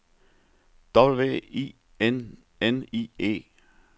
W I N N I E